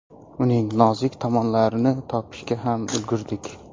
Uning nozik tomonlarini topishga ham ulgurdik.